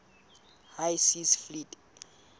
high seas fleet